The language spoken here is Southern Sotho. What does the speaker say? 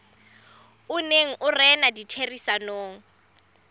o neng o rena ditherisanong